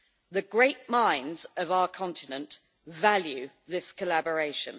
The great minds of our continent value this collaboration.